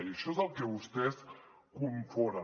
i això és el que vostès confonen